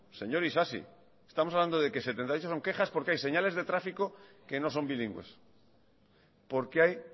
señor isasi estamos hablando de que setenta y ocho son quejas porque hay señales de tráfico que no son bilingües porque hay